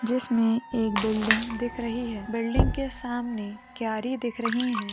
जिसमे एक बिल्डिंग दिख रही है बिल्डिंग के सामने क्यारी दिख रही हैं।